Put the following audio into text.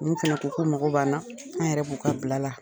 N' u fɛnɛ ko k'u mako banna, an yɛrɛ b'u ka bila la